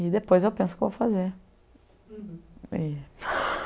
E depois eu penso o que eu vou fazer. Uhum. E